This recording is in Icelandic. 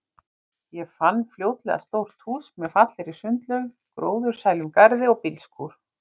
Ég fann fljótlega stórt hús með fallegri sundlaug, gróðursælum garði og bílskúr.